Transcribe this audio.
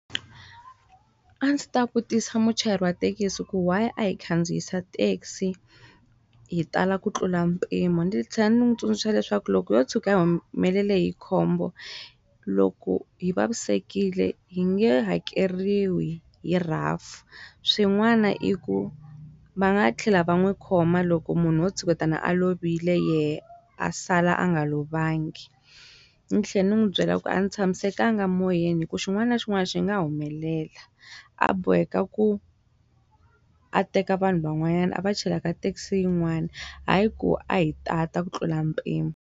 A ndzi ta vutisa muchayeri wa thekisi ku wa a hi khandziyisa taxi hi tala ku tlula mpimo ni tlhela ni n'wi tsundzuxa leswaku loko wo tshuka humelele hi khombo loko hi vavisekile hi nge hakeriwi hi R_A_F swin'wana i ku va nga tlhela va n'wi khoma loko munhu wo tshuketa a lovile yehe a sala a nga lovangi ni tlhela ni n'wi byela ku a ni tshamisekanga moyeni hi ku xin'wana na xin'wana xi nga humelela a boheka ku a teka vanhu van'wanyana a va chela ka taxi yin'wani hi ku a hi ta a ta ku tlula mpimo.